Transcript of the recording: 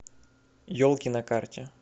елки на карте